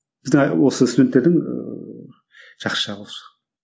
біздің а осы студенттердің ііі жақсы жағы осы